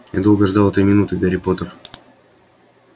я долго ждал этой минуты гарри поттер